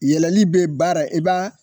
I yɛlɛli be baara i b'a